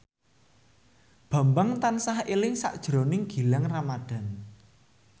Bambang tansah eling sakjroning Gilang Ramadan